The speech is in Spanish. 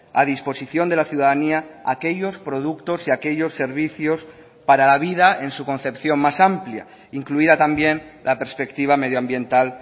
a disposición de la ciudadanía aquellos productos y aquellos servicios para la vida en su concepción más amplia incluida también la perspectiva medioambiental